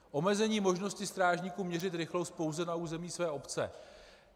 Omezení možnosti strážníků měřit rychlost pouze na území své obce.